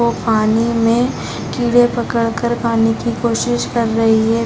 वो पानी में कीड़े पकड़ कर खाने की कोशिश कर रही है।